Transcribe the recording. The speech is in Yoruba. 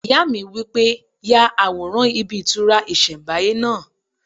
Ìyá mi wí pé "Ya àwòrán ibí ìtura ìsẹ̀nbáyé náà"